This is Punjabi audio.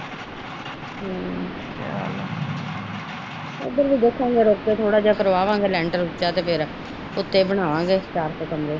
ਹਮ ਓਧਰ ਵੀ ਦੇਖਾਂਗੇ ਰੁੱਕ ਕੇ ਥੋੜਾ ਜੇਹਾ ਕਰਵਾਵਾਂਗੇ ਲੈਂਟਰ ਉੱਚਾ ਤੇ ਫੇਰ ਬਣਾਵਾਗੇ ਚਾਰ ਕ ਕਮਰੇ।